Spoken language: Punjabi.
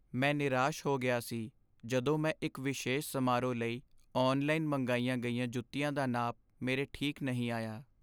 ਮੈਂ ਨਿਰਾਸ਼ ਹੋ ਗਿਆ ਸੀ ਜਦੋਂ ਮੈਂ ਇੱਕ ਵਿਸ਼ੇਸ਼ ਸਮਾਰੋਹ ਲਈ ਔਨਲਾਈਨ ਮੰਗਾਈਆਂ ਗਈਆਂ ਜੁੱਤੀਆਂ ਦਾ ਨਾਪ ਮੇਰੇ ਠੀਕ ਨਹੀਂ ਆਇਆ।